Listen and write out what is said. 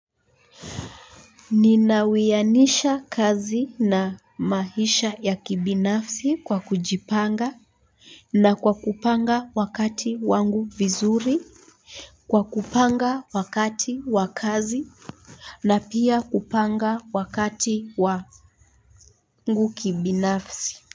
Ninawianisha kazi na maisha ya kibinafsi kwa kujipanga na kwa kupanga wakati wangu vizuri. Kwa kupanga wakati wa kazi na pia kupanga wakati wangu kibinafsi.